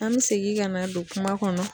An be segin ka na don kuma kɔnɔ